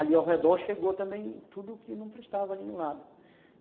ali ao redor chegou também tudo que não prestava ali no lado.